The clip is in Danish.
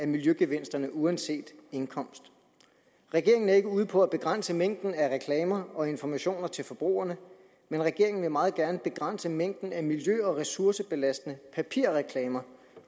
miljøgevinsterne uanset indkomst regeringen er ikke ude på at begrænse mængden af reklamer og informationer til forbrugerne men regeringen vil meget gerne begrænse mængden af miljø og ressourcebelastende papirreklamer